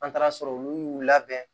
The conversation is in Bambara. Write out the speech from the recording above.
An taara sɔrɔ olu y'u labɛn